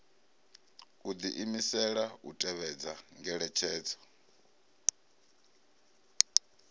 u diimisela u tevhedza ngeletshedzo